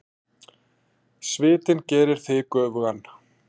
Svitinn gerir þig göfugan.